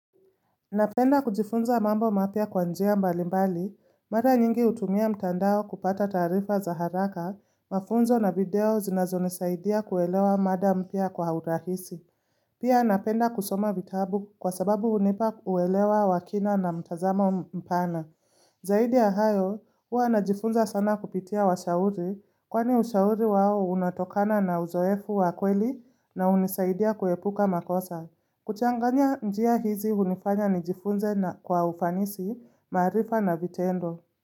Napenda kujifunza mambo mapya kwa njia mbali mbali, mara nyingi hutumia mtandao kupata taarifa za haraka, mafunzo na video zinazo nisaidia kuelewa mada mpya kwa urahisi. Pia napenda kusoma vitabu kwa sababu hunipa uelewa wakina na mtazamo mpana. Zaidi yahayo, huwa najifunza sana kupitia washauri, kwani ushauri wao unatokana na uzoefu wakweli na hunisaidia kuepuka makosa. Kuchanganya njia hizi hunifanya nijifunze na kwa ufanisi maarifa na vitendo.